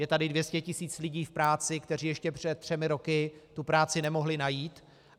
Je tady 200 tisíc lidí v práci, kteří ještě před třemi roky tu práci nemohli najít.